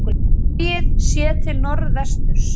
Sogið, séð til norðvesturs.